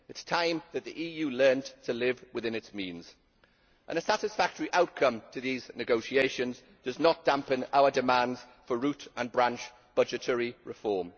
It is time that the EU learned to live within its means. A satisfactory outcome to these negotiations does not dampen our demands for root and branch budgetary reform.